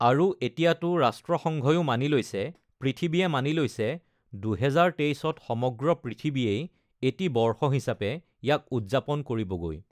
আৰু এতিয়াতো ৰাষ্ট্ৰসংঘয়ো মানি লৈছে, পৃথিৱীয়ে মানি লৈছে, ২০২৩ত সমগ্ৰ পৃথিৱীয়েই এটি বৰ্ষ হিচাপে ইয়াক উদযাপন কৰিবগৈ।